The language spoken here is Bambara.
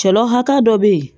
Cɛla hakɛ dɔ bɛ yen